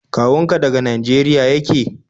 Kawun ka daga Nageriya yake?